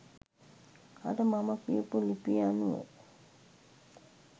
අර මම කියපු ලිපිය අනුව